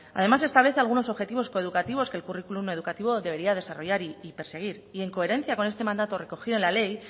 además establece algunos objetivos coeducativos que el currículo educativo debería desarrollar y perseguir y en coherencia con este mandato recorrido en la ley